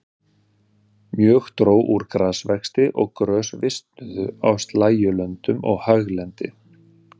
Mjög dró úr grasvexti og grös visnuðu á slægjulöndum og haglendi.